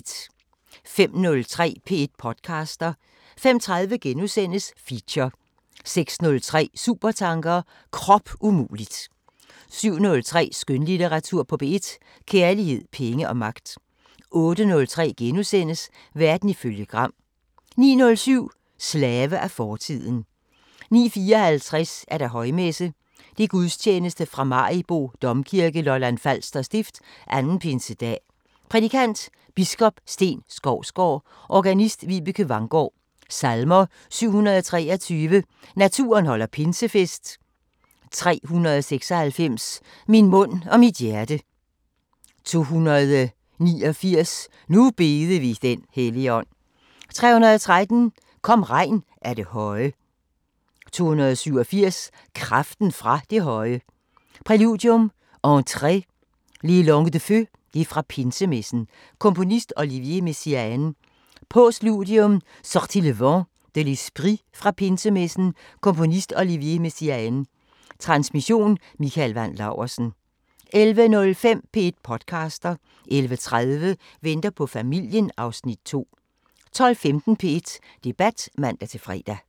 05:03: P1 podcaster 05:30: Feature * 06:03: Supertanker: Kropumuligt 07:03: Skønlitteratur på P1: Kærlighed, penge og magt 08:03: Verden ifølge Gram * 09:07: Slave af fortiden 09:54: Højmesse - Gudstjeneste fra Maribo Domkirke, Lolland Falser Stift. 2. Pinsedag. Prædikant: Biskop Steen Skovsgaard. Organist: Vibeke Vanggaard. Salmer: 723: "Naturen holder pinsefest" 396: "Min mund og mit hjerte" 289: "Nu bede vi den Helligånd" 313: "Kom regn af det høje" 287: "Kraften fra det høje" Præludium: Entrée: Les langues de Feu (fra pinsemessen) Komponist: Olivier Messiaen. Postludium: Sortie Le Vent de l'esprit (fra pinsemessen) Komponist: Olivier Messiaen. Transmission: Mikael Wandt Laursen. 11:05: P1 podcaster 11:30: Venter på familien (Afs. 2) 12:15: P1 Debat (man-fre)